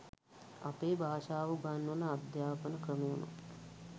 අපේ භාෂාව උගන්වන අධ්‍යාපන ක්‍රමයම